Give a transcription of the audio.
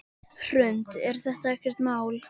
Hrund: Er þetta ekkert mál?